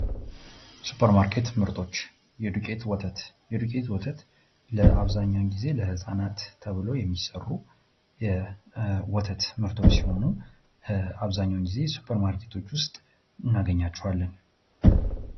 ሱፐርማርኬት ምርቶች የዱቄት ወተት የዱቄት ወተት አብዛኛን ጊዜ ለህፃናት ተብለው የሚሠሩ የወተት ምርቶች ሲሆኑ አብዛኛውን ጊዜ ሱፐር ማርኬቶች ውስጥ እናገኛቸዋለን።